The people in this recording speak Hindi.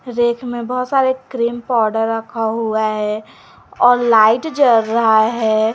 रैक में बहुत सारे क्रीम पाउडर रखा हुआ है और लाइट जल रहा है।